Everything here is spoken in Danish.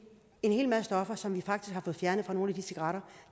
en hel masse stoffer som vi faktisk har fået fjernet fra nogle af de cigaretter